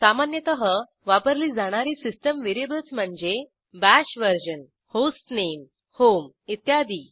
सामान्यतः वापरली जाणारी सिस्टीम व्हेरिएबल्स म्हणजे BASH VERSION होस्टनेम होम इत्यादी